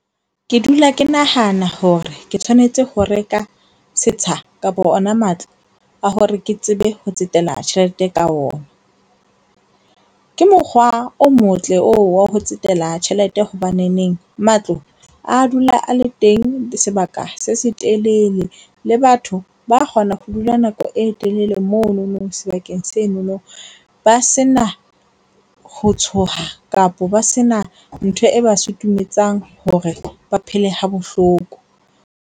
Ke dula ke nahana hore ke tshwanetse ho reka setsha kapa ona matlo a hore ke tsebe ho tsetela tjhelete ka ona. Ke mokgwa o motle oo wa ho tsetela tjhelete. Hobaneneng matlo a dula a le teng sebaka se se telele. Le batho ba kgona ho dula nako e telele monono sebakeng senono ba sena ho tshoha kapa ba sena ntho e ba sutumetsang hore ba phele ha bohloko.